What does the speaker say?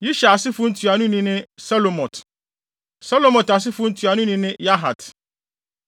Yishar asefo ntuanoni ne Selomot. Selomot asefo ntuanoni ne Yahat.